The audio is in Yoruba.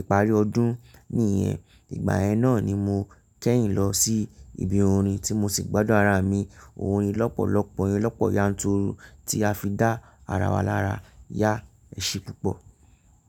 ìparí ọdún nìyẹn. Ìgbà ẹ náà ni mo kẹ́yìn lọ sí ibi orin tí mo sì gbádùn ara mi. Orin lọ́pọ̀lọ́pọ̀ yẹn lọ́pọ̀ yanturu tí a fi dá ara wa lára yá ẹṣe púpọ̀.